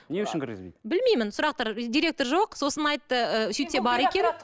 не үшін кіргізбейді білмеймін сұрақтар директор жоқ сосын айтты ыыы сөйтсе бар екен